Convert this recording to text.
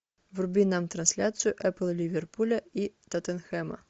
вруби нам трансляцию апл ливерпуля и тоттенхэма